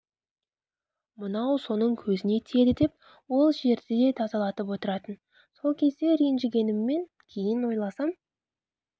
мынау соның көзіне тиеді деп ол жерді де тазалатып отыратын сол кезде ренжігеніммен кейін ойласам